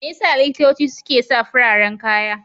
Me ya sa likitoci suke sa fararen kaya?